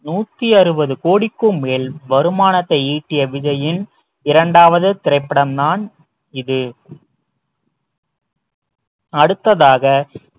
நூத்தி அறுபது கோடிக்கும் மேல் வருமானத்தை ஈட்டிய விஜயின் இரண்டாவது திரைப்படம் தான் இது அடுத்ததாக